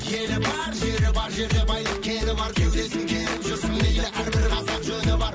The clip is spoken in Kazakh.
елі бар жері бар жерде байлық кені бар кеудесін керіп жүрсін иә әр бір қазақ жөні бар